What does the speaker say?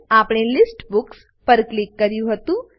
આપણે list books પર click કર્યું હતું